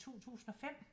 2005